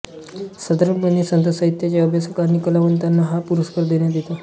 साधारणपणे संत साहित्याचे अभ्यासक आणि कलावंतांना हा पुरस्कार देण्यात येतो